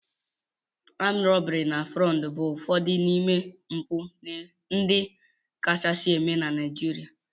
Armed robbery and Fraud bụ ụfọdụ n'ime mpụ ndị kachasị eme na Naịjirịa